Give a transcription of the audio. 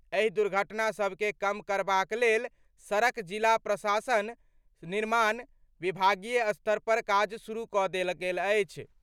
एहि दुर्घटना सभके कम करबाक लेल सड़क जिला प्रशासन, निर्माण, विभागीय स्तर पर काज शुरू कऽ देल गेल अछि।